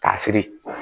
K'a siri